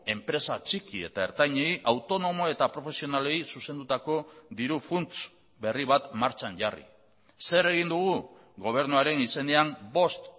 enpresa txiki eta ertainei autonomo eta profesionalei zuzendutako diru funts berri bat martxan jarri zer egin dugu gobernuaren izenean bost